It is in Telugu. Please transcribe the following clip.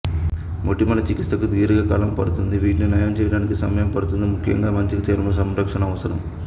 మొటిమల చికిత్సకు దీర్ఘకాలం పడుతుంది వీటిని నయం చేయడానికి సమయం పడుతుంది ముఖ్యంగా మంచి చర్మ సంరక్షణ అవసరం